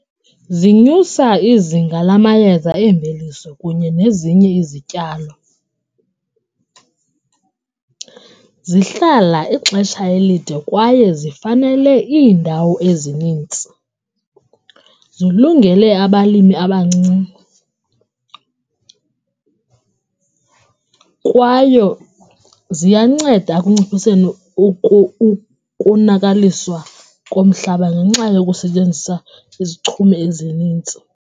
Zinyusa izinga lamayeza eemveliso kunye nezinye izityalo, zihlala ixesha elide kwaye zifanele iindawo ezinintsi, zilungele abalimi abancinci kwaye ziyanceda ekunciphiseni ukonakaliswa komhlaba ngenxa yokusebenzisa izichumi ezinintsi.